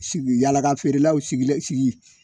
Sigi yalaka feerelaw sigilen sigi